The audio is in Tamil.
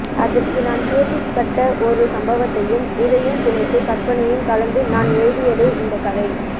அதற்கு நான் கேள்விப்பட்ட ஒரு சம்பவத்தையும் இதையும் பிணைத்து கற்பனையும் கலந்து நான் எழுதியதே இந்தக் கதை